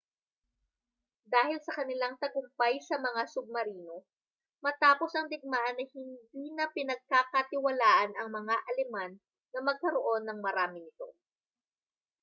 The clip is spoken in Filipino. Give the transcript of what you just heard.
dahil sa kanilang tagumpay sa mga submarino matapos ang digmaan ay hindi na pinagkakatiwalaan ang mga aleman na magkaroon ng marami nito